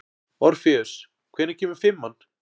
Orfeus, hvenær kemur fimman?